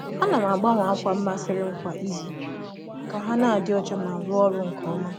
A na m agbanwe ákwà m masịrị m kwa izu ka ha na-adị ọcha ma rụọ ọrụ nke ọma.